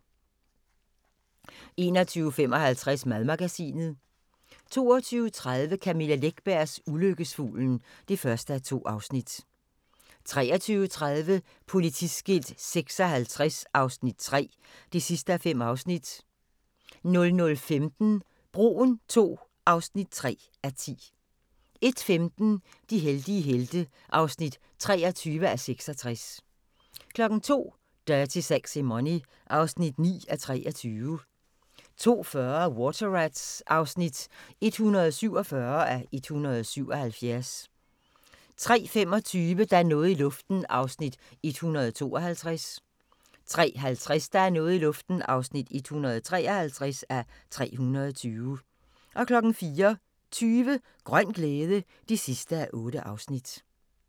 21:55: Madmagasinet 22:30: Camilla Läckbergs Ulykkesfuglen (1:2) 23:30: Politiskilt 56 III (5:5) 00:15: Broen II (3:10) 01:15: De heldige helte (23:66) 02:00: Dirty Sexy Money (9:23) 02:40: Water Rats (147:177) 03:25: Der er noget i luften (152:320) 03:50: Der er noget i luften (153:320) 04:20: Grøn glæde (8:8)